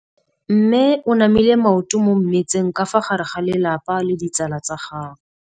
Mme o namile maoto mo mmetseng ka fa gare ga lelapa le ditsala tsa gagwe.